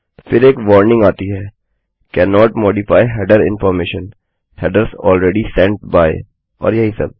फिर एक वार्निंग आती है cannot modify header information - headers already sent by और यही सब